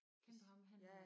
Kender du ham han er